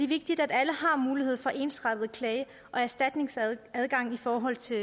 vigtigt at alle har mulighed for ensartet klage og erstatningsadgang i forhold til